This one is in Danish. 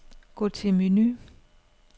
Gå til menu.